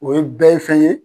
O ye bɛɛ ye fɛn ye